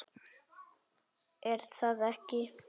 Er það ekki Una?